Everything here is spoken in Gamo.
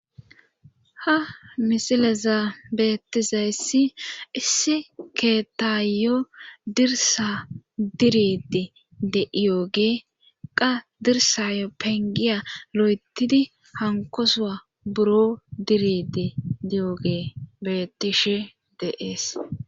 ha misileza beettizayssi issi keetayo dirsa diridi de7iyooge qa dirsayo pengiya lo7etidi hankosoa buro diridi diyooge bettishe deees